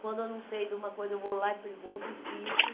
Quando eu não sei de alguma coisa, eu vou lá e pergunto, insisto.